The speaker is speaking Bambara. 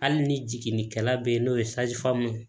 Hali ni jiginnikɛla be yen n'o ye ye